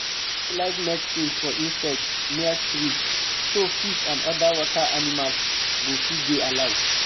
she no dey like medicine for insects near stream so fish and other water animals go fit dey alive